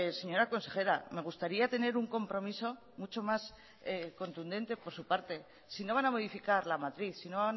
señora consejera me gustaría tener un compromiso mucho más contundente por su parte si no van a modificar la matriz sino